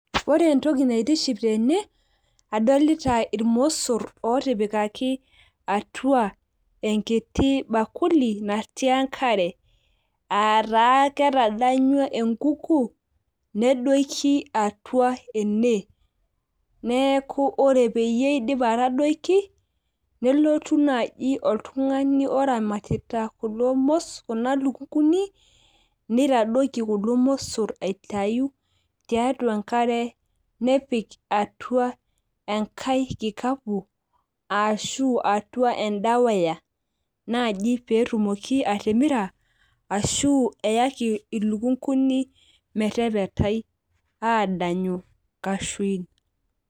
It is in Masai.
ore entoki naitiship etene, adolita irmosor ootipikaki, atua enkiti bakuli, natii enkare.aa taa ketadanyua enkuku, nedoiki atua ene, neeku ore peeyi eidip atadoiki, nelotu naaji oltungani oramatita kulo mosor, kuna lukunkuni. neitaoiki kulo mosor aitayu tiatua enkare, nepik atua enkaae kikau ashu nepikatua eda wire. naaji pee etumoki atimira ashu eyaki iluknkuni metepetai aadanyu nkashuin.